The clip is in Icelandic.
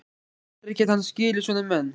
Aldrei gæti hann skilið svona menn.